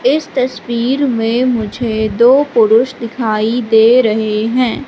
इस तस्वीर में मुझे दो पुरुष दिखाई दे रहे हैं।